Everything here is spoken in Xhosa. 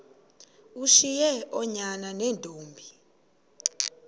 ushiye oonyana neentombi